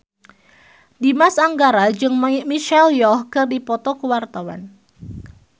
Dimas Anggara jeung Michelle Yeoh keur dipoto ku wartawan